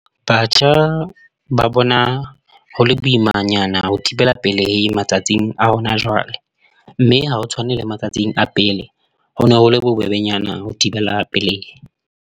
Batjha ba bona hole boimanyana ho thibela pelehi matsatsing a hona jwale, mme ha ho tshwane le matsatsing a pele. Hono hole bobebenyana ho thibela pelehi.